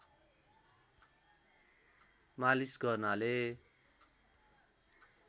मालिश गर्नाले